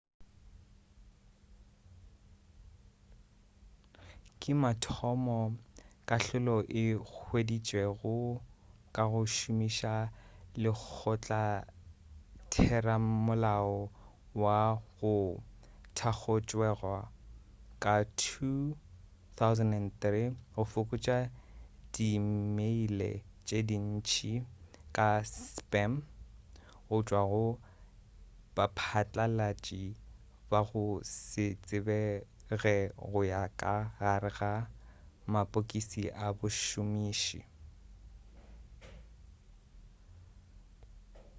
ke mathomo kahlolo e hweditšwego ka go šomiša lekgotlatheramolao wo o thakgotšwego ka 2003 go fokotša diimeile tše dintši aka spam gotšwa go baphatlalatši ba go se tsebege go ya ka gare ga mapokisi a bašomiši